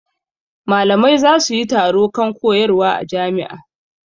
Malamai za su yi taro kan koyarwa a jami'a.